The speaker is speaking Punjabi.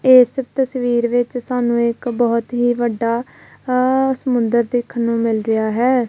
ਏਸ ਤਸਵੀਰ ਵਿੱਚ ਸਾਨੂੰ ਇੱਕ ਬੋਹਤ ਹੀ ਵੱਡਾ ਆ ਸਮੁੰਦਰ ਦੇਖਨ ਨੂੰ ਮਿਲ ਰਿਹਾ ਹੈ।